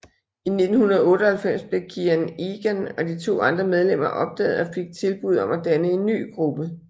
I 1998 blev Kian Egan og de to andre medlemmer opdaget og fik tilbuddet om at danne en ny gruppe